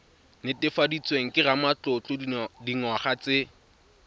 netefaditsweng ke ramatlotlo dingwaga tse